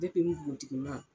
npogotigi ma.